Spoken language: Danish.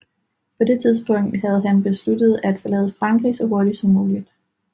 På det tidspunkt havde han besluttet at forlade Frankrig så hurtigt som muligt